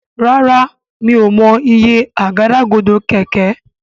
Ràrá mi'o mọ iye Àgádágodo kẹ̀kẹ́.